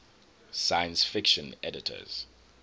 science fiction editors